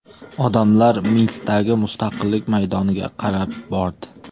Odamlar Minskdagi Mustaqillik maydoniga qarab bordi.